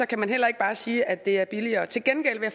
kan man heller ikke bare sige at det er billigere til gengæld vil